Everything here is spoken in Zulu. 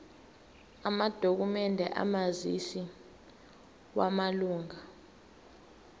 amadokhumende omazisi wamalunga